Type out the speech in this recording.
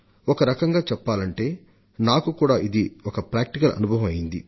ఒకరకంగా చెప్పాలంటే ఇది నాకు కూడా ఒక నేర్వదగిన పాఠం వంటి అనుభూతిని కలిగించింది